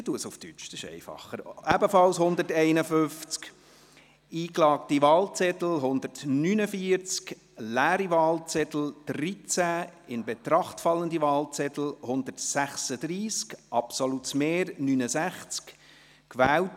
Bei 151 ausgeteilten und 149 eingegangenen Wahlzetteln, wovon leer 13 und ungültig 0, in Betracht fallend 136, wird bei einem absoluten Mehr von 69 gewählt: